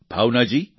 Bhavna ji